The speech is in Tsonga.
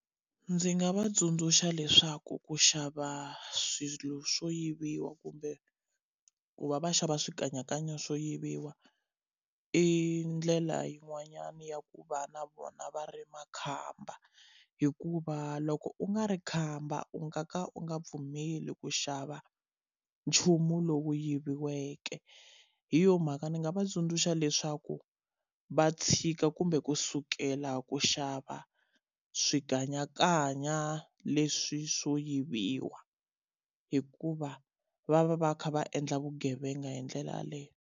Ndzi nga va tsundzuxa leswaku ku xava swilo swo yiviwa kumbe ku va va xava swikanyakanya swo yiviwa i ndlela yin'wanyana ya ku va na vona va ri makhamba. Hikuva loko u nga ri khamba u nga ka u nga pfumeli ku xava nchumu lowu yiviweke. Hi yona mhaka ndzi nga va tsundzuxa leswaku va tshika kumbe kusukela ku xava swikanyakanya leswi swo yiviwa, hikuva va va va kha va endla vugevenga hi ndlela yaleyo.